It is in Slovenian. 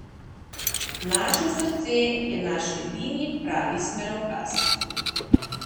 Naše srce je naš edini pravi smerokaz.